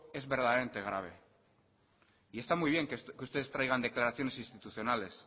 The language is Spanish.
es verdaderamente grave y está muy bien que ustedes traigan declaraciones institucionales